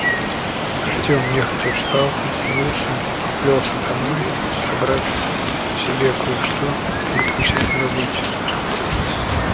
артём нехотя встал потянулся и поплёлся домой собрать себе кое-что перекусить на работе